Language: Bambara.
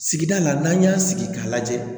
Sigida la n'an y'a sigi k'a lajɛ